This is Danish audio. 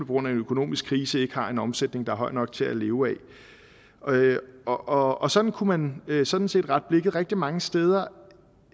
grund af en økonomisk krise ikke har en omsætning der er høj nok til at leve af og og sådan kunne man sådan set rette blikket rigtig mange steder